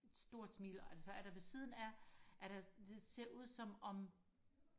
stort smil og så er der ved siden af er der det ser ud som om